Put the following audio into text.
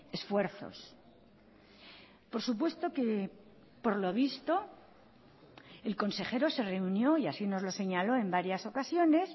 esfuerzos por supuesto que por lo visto el consejero se reunió y así nos lo señaló en varias ocasiones